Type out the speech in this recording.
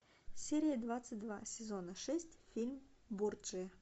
серия двадцать два сезона шесть фильм борджиа